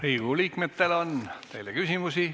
Riigikogu liikmetel on teile küsimusi.